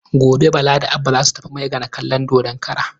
Gobe Bala da Abba za su tafi Maigana kallon dodon kara.